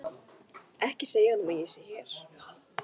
Ekki segja honum að ég sé hér.